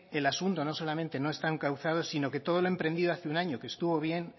el asunto no solamente no está encauzado sino que todo lo emprendido hace un año que estuvo bien